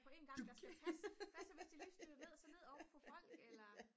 på en gang hvad så hvis de lige styrter ned og så ned ovenpå folk eller